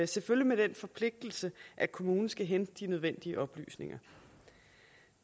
selvfølgelig med den forpligtelse at kommunen skal hente de nødvendige oplysninger